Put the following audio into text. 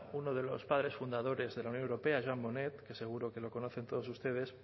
uno de los padres fundadores de la unión europea jean monnet que seguro que lo conocen todos ustedes